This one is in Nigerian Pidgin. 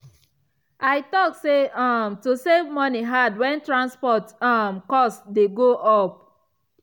i talk say um to save money hard when transport um cost dey go up.